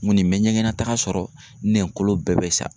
N kɔni n bɛ ɲɛgɛnnataga sɔrɔ nɛnkolo bɛɛ bɛ sa.